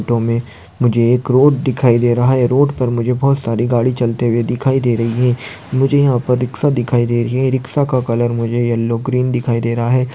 Photo मे मुझे एक रोड दिखाई दे रहा है रोड पर मुझे बहुत सारी गाड़ी चलते हुए दिखाई दे रही है मुझे यहा पर रिक्शा दिखाई दे रही है रिक्शा का कलर मुझे येल्लो ग्रीन दिखाई दे रहा है।